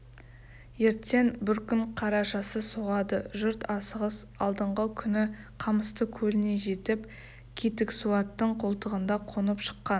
ертең бір күн қарашасы соғады жұрт асығыс алдыңғы күні қамысты көліне жетіп кетіксуаттың қолтығында қонып шыққан